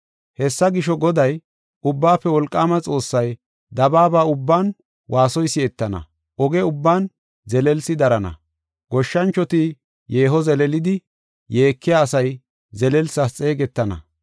Hessa gisho, Goday, Ubbaafe Wolqaama Xoossay, “Dabaaba ubban waasoy si7etana; oge ubban zelelsi darana. Goshshanchoti yeeho, zeleelidi yeekiya asay zelelsas xeegetana.